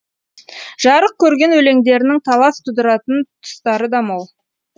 жарық көрген өлеңдерінің талас тудыратын тұстары да мол